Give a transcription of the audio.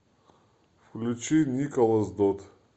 включи николас додд